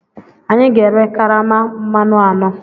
Anyị ga-ere karama mmanụ anọ.